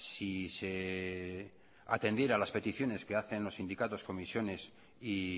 si se atendiera las peticiones que hacen los sindicatos comisiones y